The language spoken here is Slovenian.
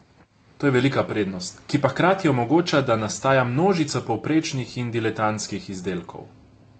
To je velika prednost, ki pa hkrati omogoča, da nastaja množica povprečnih in diletantskih izdelkov.